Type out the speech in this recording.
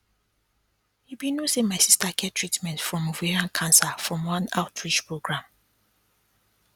you be no say my sister get treatment from ovarian cancer from one outreach program